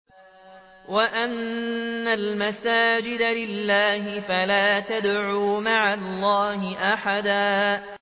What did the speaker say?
وَأَنَّ الْمَسَاجِدَ لِلَّهِ فَلَا تَدْعُوا مَعَ اللَّهِ أَحَدًا